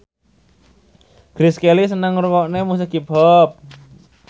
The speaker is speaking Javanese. Grace Kelly seneng ngrungokne musik hip hop